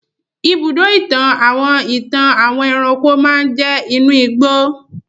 ibùdó-ìtàn àwọn ìtàn àwọn ẹranko máa jẹ́ inú ìgbó.